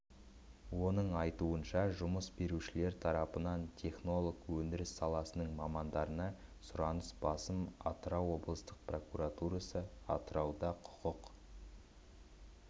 оның айтуынша жұмыс берушілер тарапынан технолог өндіріс саласының мамандарына сұраныс басым атырау облыстық прокуратурасы атырауда құқық